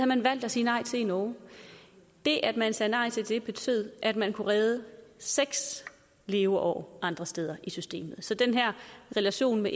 man valgt at sige nej til i norge det at man sagde nej til det betød at man kunne redde seks leveår andre steder i systemet så den her relation med